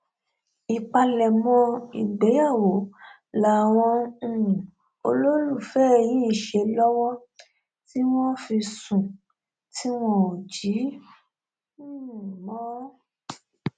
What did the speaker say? ìpalẹmọ ìgbéyàwó làwọn um olólùfẹ yìí ń ṣe lọwọ tí wọn fi sùn tí wọn ò jí um mọ